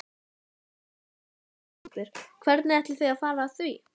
Íslendingar höfðu sjaldan notið þvílíkrar veðurblíðu á öldinni.